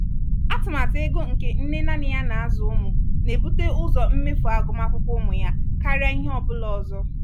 atụmatụ ego nke nne nanị ya na-azụ ụmụ na-ebute ụzọ mmefu agụmakwụkwọ ụmụ ya karịa ihe ọ bụla ọzọ.